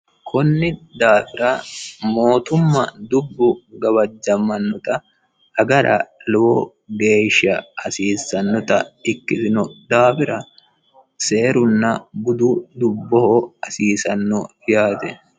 kunni daafira mootumma dubbu gawajjammannota agara lowo geeshsha hasiisannota ikkitino daafira seerunna budu dubboho hasiisanno yaate